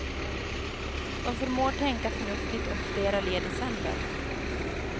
De förmår tänka förnuftigt och flera led i sänder.